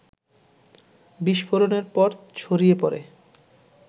বিস্ফোরণের পর ছড়িয়ে পড়ে